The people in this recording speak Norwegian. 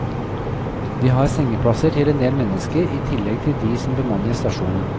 De har sengeplasser til en del mennesker i tillegg til de som bemanner stasjonen.